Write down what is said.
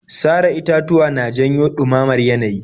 Sare itatuwa na janyo ɗumamamar yanayi.